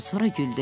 Sonra güldü.